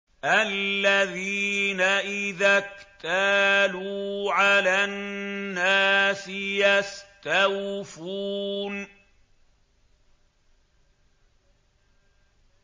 الَّذِينَ إِذَا اكْتَالُوا عَلَى النَّاسِ يَسْتَوْفُونَ